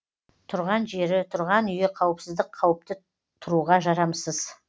тұрған жері тұрған үйі қауіпсіздік қауіпті тұруға жарамсыз